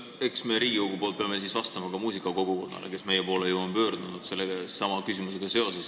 Eks me pea Riigikogu poolt vastama ka muusikute kogukonnale, kes on meie poole pöördunud sellesama küsimusega.